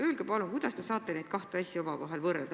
Öelge palun, kuidas te saate neid kahte asja omavahel võrrelda.